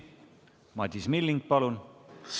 Madis Milling, palun!